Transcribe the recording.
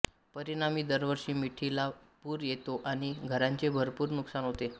परिणामी दरवर्षी मिठीला पूर येतो आणि घरांचे भरपूर नुकसान होते